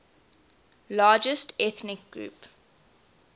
largest ethnic group